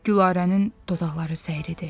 Gülarənin dodaqları səridi.